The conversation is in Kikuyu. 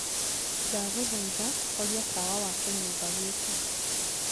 ndagũthaĩtha horĩa tawa wa kiumba gĩkĩ